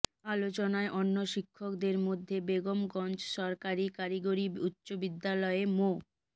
আলোচনায় অন্য শিক্ষকদের মধ্যে বেগমগঞ্জ সরকারি কারিগরি উচ্চবিদ্যালয়ের মো